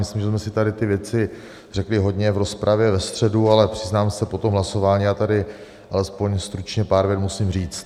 Myslím, že jsme si tady ty věci řekli hodně v rozpravě ve středu, ale přiznám se, po tom hlasování já tady alespoň stručně pár vět musím říct.